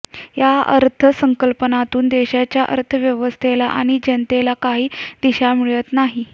या अर्थसंकल्पातून देशाच्या अर्थव्यवस्थेला आणि जनतेला काही दिशा मिळत नाही